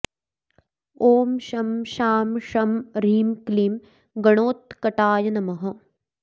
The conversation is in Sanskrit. ॐ शं शां षं ह्रीं क्लीं गणोत्कटाय नमः